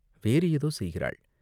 வேறு ஏதோ செய்கிறாள்.